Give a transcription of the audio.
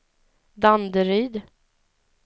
Danderyd